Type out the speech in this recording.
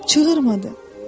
Çığırmadı.